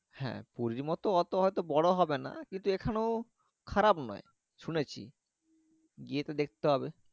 হ্যাঁ পুরি মতো এত এতো বড় হবে না কিন্তু এখানেও খারাপ নয় শুনেছি গিয়ে তো হবে।